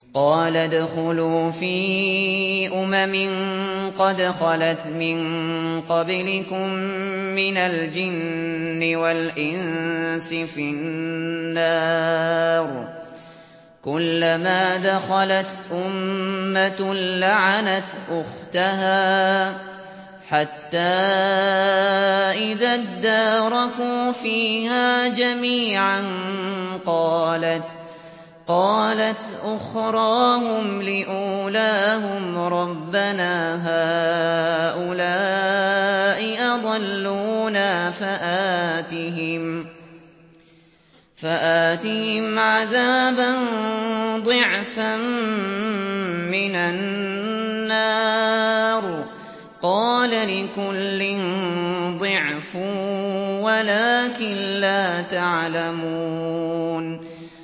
قَالَ ادْخُلُوا فِي أُمَمٍ قَدْ خَلَتْ مِن قَبْلِكُم مِّنَ الْجِنِّ وَالْإِنسِ فِي النَّارِ ۖ كُلَّمَا دَخَلَتْ أُمَّةٌ لَّعَنَتْ أُخْتَهَا ۖ حَتَّىٰ إِذَا ادَّارَكُوا فِيهَا جَمِيعًا قَالَتْ أُخْرَاهُمْ لِأُولَاهُمْ رَبَّنَا هَٰؤُلَاءِ أَضَلُّونَا فَآتِهِمْ عَذَابًا ضِعْفًا مِّنَ النَّارِ ۖ قَالَ لِكُلٍّ ضِعْفٌ وَلَٰكِن لَّا تَعْلَمُونَ